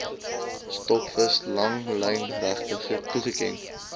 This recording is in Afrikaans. stokvis langlynregte toegeken